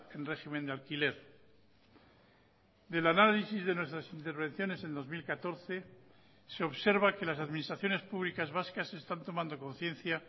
en régimen de alquiler del análisis de nuestras intervenciones en dos mil catorce se observa que las administraciones públicas vascas están tomando conciencia